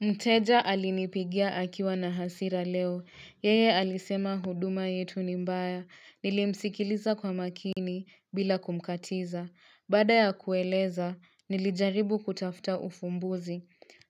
Mteja alinipigia akiwa na hasira leo, yeye alisema huduma yetu ni mbaya, nilimsikiliza kwa makini bila kumkatiza. Baada ya kueleza, nilijaribu kutafuta ufumbuzi.